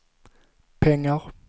pengar